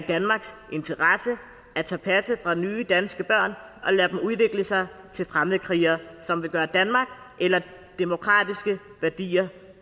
danmarks interesse at tage passet fra nye danske børn og lade dem udvikle sig til fremmedkrigere som vil gøre danmark eller demokratiske værdier